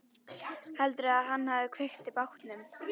Heldurðu að hann hafi kveikt í bátnum?